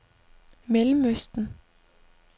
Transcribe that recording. Mellemøsten